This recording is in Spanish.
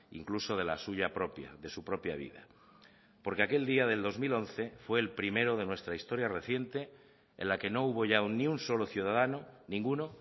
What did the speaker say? incluso de la suya propia de su propia vida porque aquel día del dos mil once fue el primero de nuestra historia reciente en la que no hubo ya ni un solo ciudadano ninguno